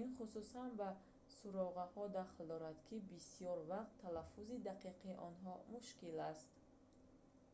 ин хусусан ба суроғаҳо дахл дорад ки бисёр вақт талаффузи дақиқи онҳо мушкил аст